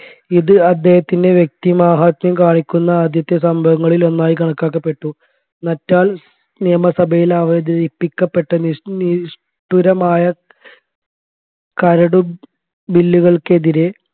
ഇത് അദ്ദേഹത്തിൻെറ വ്യക്തിമാഹാത്മ്യം കാണിക്കുന്ന ആദ്യത്തെ സംഭവങ്ങളിൽ ഒന്നായി കണക്കാക്കപെട്ടു നറ്റാൽ നിയമ സഭയിൽ അവതരിപ്പിക്കപ്പെട്ട നിഷ്ട നിഷ്ടുരമായ കരടുബില്ലുകൾക്കെതിരെ